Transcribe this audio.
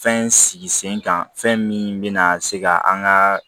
Fɛn sigi sen kan fɛn min bɛna se ka an ga